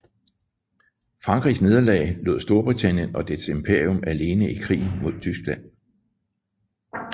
Frankrigs nederlag lod Storbritannien og dets imperium alene i krigen mod Tyskland